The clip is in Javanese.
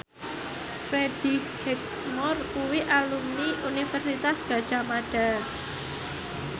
Freddie Highmore kuwi alumni Universitas Gadjah Mada